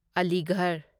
Aligarh